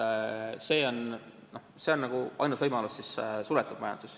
Suletud majanduses on see ainus võimalus.